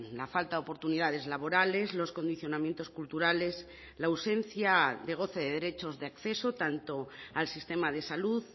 la falta de oportunidades laborales los condicionamientos culturales la ausencia de goce de derechos de acceso tanto al sistema de salud